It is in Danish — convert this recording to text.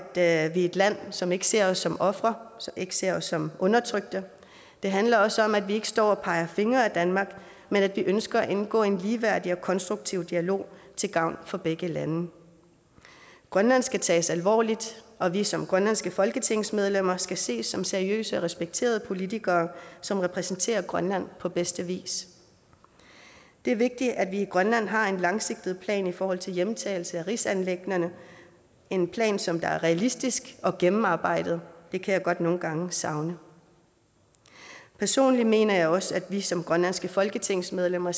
er et land som ikke ser os som ofre ikke ser os som undertrykte det handler også om at vi ikke står og peger fingre ad danmark men at vi ønsker at indgå i en ligeværdig og konstruktiv dialog til gavn for begge lande grønland skal tages alvorligt og vi som grønlandske folketingsmedlemmer skal ses som seriøse og respekterede politikere som repræsenterer grønland på bedste vis det er vigtigt at vi i grønland har en langsigtet plan i forhold til hjemtagelse af rigsanliggenderne en plan som er realistisk og gennemarbejdet det kan jeg godt nogle gange savne personligt mener jeg også at vi som grønlandske folketingsmedlemmer